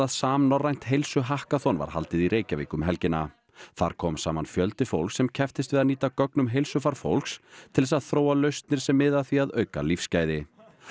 samnorrænt heilsuhakkaþon var haldið í Reykjavík um helgina þar kom saman fjöldi fólks sem kepptist við að nýta gögn um heilsufar fólks til þess að þróa lausnir sem miða að því að auka lífsgæði